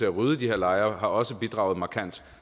at rydde de her lejre har også bidraget markant